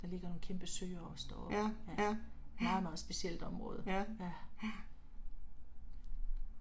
Der ligger nogle kæmpe søer også deroppe. Ja, meget meget specielt område, ja